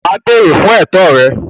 Wà á “ béèrè ” fún ẹ̀tọ́ rẹ.